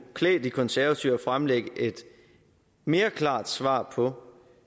klæde de konservative at fremlægge et mere klart svar på